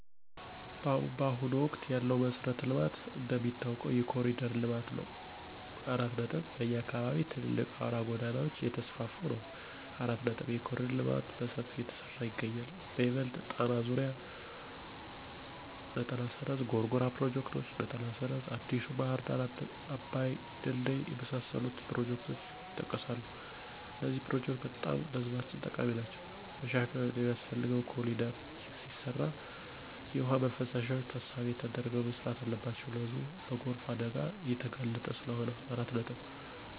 ባሁኑ ወቅት ያለው መሠረተ ልማት እንደሚታወቀው የኮሪደር ለማት ነው። በኛ አካባቢም ትልልቅ አውራ ጎዳናወች እየተስፍፋ ነው። የኮሪደር ልማትም በሠፊው እየተሠራ ይገኛል በይበልጥ ጣና ዙሪያ፣ ጎርጎራ ፕሮጀክቶች፣ አዲሡ ባህር ዳር አባይ ድልድይ የመሣሠሉት ፕሮጀክቶች የጠቀሣሉ። እነዚህ ፕሮጀክቶች በጣም ለህዝባችን ጠቃሚ ናቸዉ። መሻሻል ሚያስፈልገው ኮሪደር ሲሰራ የውሃ ማፋሰሻዎች ታሣቢ ተደርገው መሠራት አለባቸው ህዝቡ ለጎርፍ አደጋ እየተጋለጠ ስለሆነ።